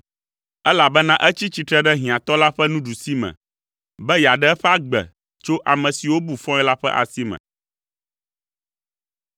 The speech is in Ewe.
elabena etsi tsitre ɖe hiãtɔ la ƒe nuɖusime, be yeaɖe eƒe agbe tso ame siwo bu fɔ̃e la ƒe asi me.